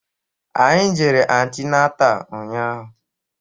Anyị jere antinatal ụnyaahụ